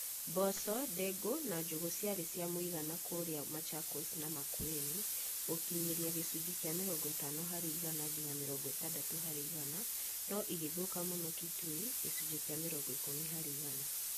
Mboco, ndengũ na njũgũ ciarĩ cia mũigana kũrĩa Machakos na Makueni (gũkinyĩria gĩcunjĩ kĩa mĩrongo ĩtano harĩ igana nginya mĩrongo ĩtandatũ harĩ igana) no ĩgĩthũka mũno Kitui (gĩcunjĩ kĩa mĩrongo ikumi harĩ igana).